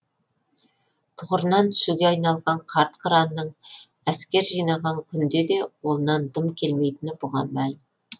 тұғырынан түсуге айналған қарт қыранның әскер жинаған күнде де қолынан дым келмейтіні бұған мәлім